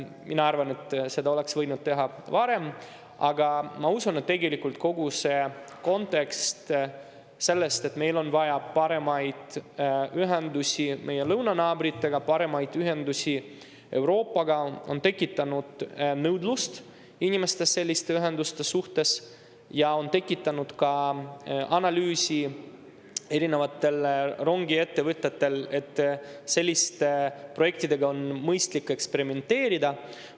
Ma arvan, et seda oleks võinud teha varem, aga ma usun, et tegelikult kogu see kontekst, et meil on vaja paremaid ühendusi meie lõunanaabritega, paremaid ühendusi Euroopaga, on tekitanud nõudlust inimestes selliste ühenduste järele ja erinevate rongiettevõtete analüüsidega on ka, et selliste projektidega on mõistlik eksperimenteerida.